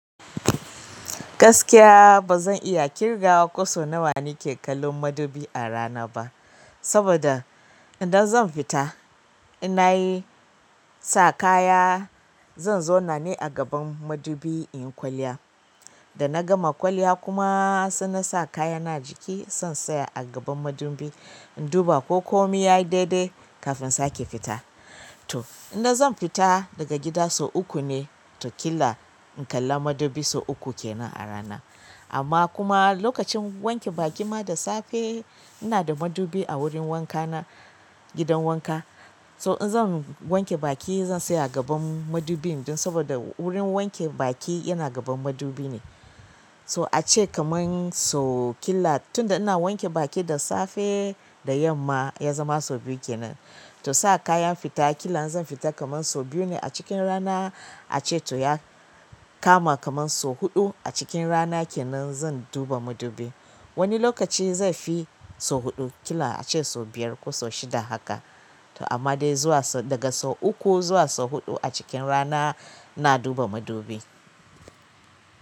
Gaskiya ba zan iya ƙirga wa ko sau nawa ke kallon madubi a rana ba saboda idan zan fita ina yi sa kaya, zan zauna ne a gaban madubi inyi kwalliya. Da nagama kwalliya kuma sai nasa kaya na ajiki, sai in tsaya a gaban madubi in duba ko komi yayi daidai kafin sake fita. To idan zan fita daga gida sau uku ne wataƙila in kalla madubi sau uku kenan a rana. Amma kuma lokacin wanke baki ma da safe ina da madubi a wurin wanka na gidan wanka. So in zan wanke baki zan tsaya a gaban madubi ɗin saboda wurin wanke baki yana gaban madubi ne. So ace kamar sau ƙila tun da ina wanke baki da safe da yamma ya zama sau biyu kenan. To sa kayan fita, ƙila zan fita kamar sau biyu ne a cikin rana ace to ya kama kamar sau huɗu a cikin rana kenan zan duba madubi. Wani lokaci zaifi sau huɗu ƙila ace sau biyar ko sau shida haka. To amma dai zuwa daga sau uku zuwa sau huɗu a cikin rana ina duba madubi.